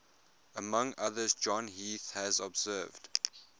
among others john heath has observed